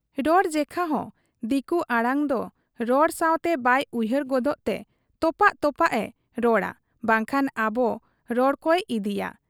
ᱨᱚᱲ ᱡᱮᱠᱷᱟ ᱦᱚᱸ ᱫᱤᱠᱩ ᱟᱹᱲᱟᱹᱫᱚ ᱨᱚᱲ ᱥᱟᱶᱛᱮ ᱵᱟᱭ ᱩᱭᱦᱟᱹᱨ ᱜᱚᱫᱚᱜ ᱛᱮ ᱛᱚᱯᱟᱜ ᱛᱚᱯᱟᱜ ᱮ ᱨᱚᱲᱟ ᱵᱟᱝᱠᱷᱟᱱ ᱟᱵᱚ ᱨᱚᱲ ᱠᱚᱭ ᱤᱫᱤᱭᱟ ᱾